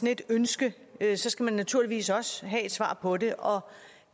et ønske ønske skal man naturligvis også have et svar på det og